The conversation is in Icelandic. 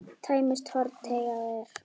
Tæmist horn þá teygað er.